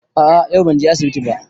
A'a yau ban je asibiti ba